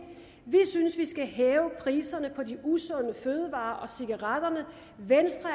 vi synes at vi skal hæve priserne på de usunde fødevarer og cigaretterne venstre